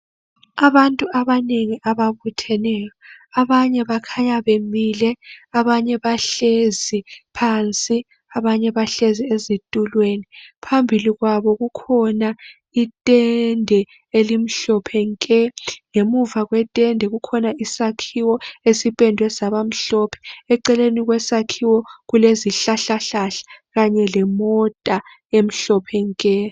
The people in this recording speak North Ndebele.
Abantu abanengi ababutheneyo, abanye bakhanya bamile, abanye bahlezi phansi, abanye bahlezi ezitulweni. Phambili kwabo kukhona itende elimhlophe nke, ngemuva kwetende kukhona isakhiwo esipendwe saba mhlophe. Eceleni kwesakhiwo kulezihlahla hlahla kanye lemota emhlophe nke.